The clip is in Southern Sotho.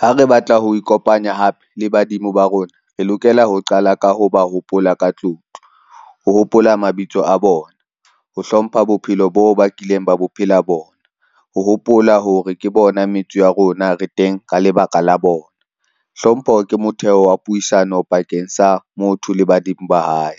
Ha re batla ho ikopanya hape le badimo ba rona, re lokela ho qala ka ho ba hopola ka tlotlo, ho hopola mabitso a bona, ho hlompha bophelo bo bakileng ba bophela bona, ho hopola hore ke bona metso ya rona re teng ka lebaka la bona. Hlompho ke motheo wa puisano pakeng sa motho le badimo ba hae.